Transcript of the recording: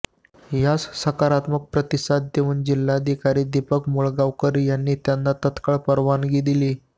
यास सकारात्मक प्रतिसाद देऊन जिल्हाधिकारी दिपक मुगळीकर यांनी त्यांना तात्काळ परवानगी दिली